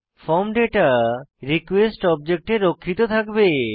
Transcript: form data request অবজেক্টে রক্ষিত থাকবে